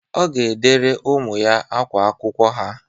Ọ ga-edere ụmụ ya ákwá akwụkwọ ha.